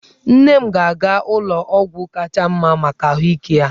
Nne m ga-aga ụlọ ọgwụ kacha mma maka ahụike ya.